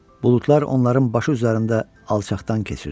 Buludlar onların başı üzərində alçaqdan keçirdi.